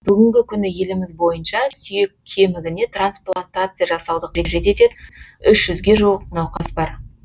бүгінгі күні еліміз бойынша сүйек кемігіне трансплантация жасауды қажет ететін үш жүзге жуық науқас бар